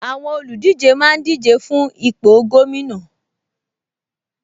Àwọn olùdíje máa ń díje fún ipò gómìnà